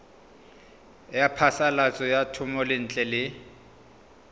ya phasalatso ya thomelontle le